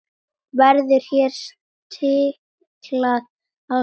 Verður hér stiklað á stóru.